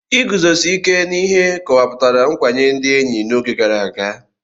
Iguzosi ike n'ihe kọwapụtara nkwanye ndị enyi n'oge gara aga.